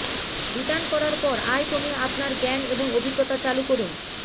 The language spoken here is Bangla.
রিটার্ন করার পর আয় কমে আপনার জ্ঞান এবং অভিজ্ঞতা চালু করুন